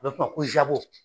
O be f'o ma ko